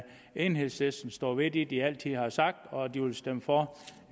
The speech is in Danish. enhedslisten står ved det de altid har sagt og at de vil stemme for